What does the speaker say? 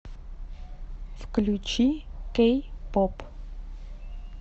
включи кэй поп